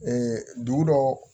dugu dɔ